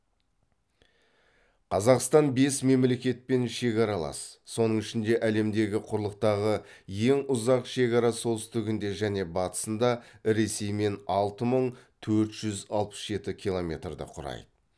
қазақстан бес мемлекетпен шекаралас соның ішінде әлемдегі құрлықтағы ең ұзақ шекара солтүстігінде және батысында ресеймен алты мың төрт жүз алпыс жеті километрді құрайды